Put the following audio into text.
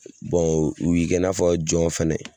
u b'i kɛ i n'a fɔ jɔn fɛnɛ